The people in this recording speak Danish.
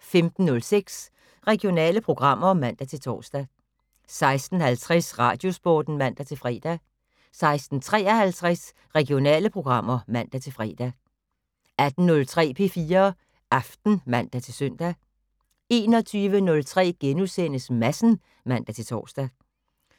15:06: Regionale programmer (man-tor) 16:50: Radiosporten (man-fre) 16:53: Regionale programmer (man-fre) 18:03: P4 Aften (man-søn) 21:03: Madsen *(man-tor)